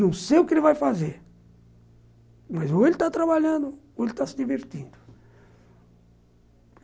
Não sei o que ele vai fazer, mas ou ele está trabalhando ou está se divertindo.